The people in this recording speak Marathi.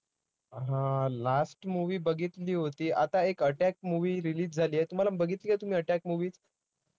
हा, last movie बघितली होती, आता एक attack movie release झालीये. तुम्हाला बघितलीये तुम्ही attack movie